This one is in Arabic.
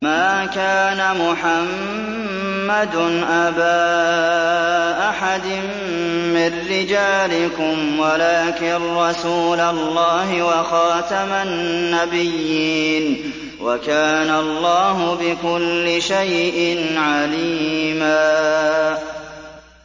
مَّا كَانَ مُحَمَّدٌ أَبَا أَحَدٍ مِّن رِّجَالِكُمْ وَلَٰكِن رَّسُولَ اللَّهِ وَخَاتَمَ النَّبِيِّينَ ۗ وَكَانَ اللَّهُ بِكُلِّ شَيْءٍ عَلِيمًا